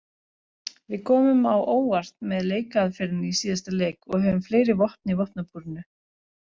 Við komum á óvart með leikaðferðinni í síðasta leik og höfum fleiri vopn í vopnabúrinu.